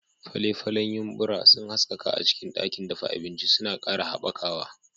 Fale-falen yumbura sun haskaka a cikin ɗakin dafa abinci, suna ƙara haɓakawa.